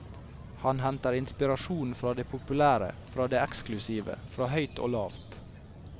Han henter inspirasjon fra det populære, fra det eksklusive, fra høyt og lavt.